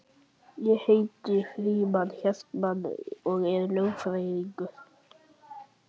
Ég heiti Frímann Hartmann og er lögfræðingur